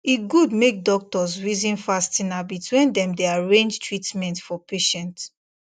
e good make doctors reason fasting habits when dem dey arrange treatment for patient